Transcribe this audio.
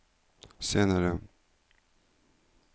senere